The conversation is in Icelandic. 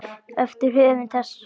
eftir höfund þessa svars.